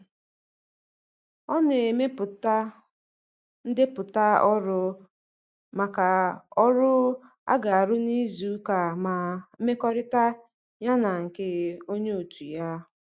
Ọ na-emepụta ndepụta ọrụ maka ọrụ a ga-arụ n'izuụka ma mmekọrịta ya na nke onye otu ya.